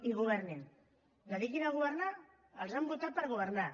i governin dediquin se a governar els han votat per governar